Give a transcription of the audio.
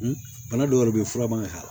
Bana dɔw yɛrɛ bɛ ye fura man k'a la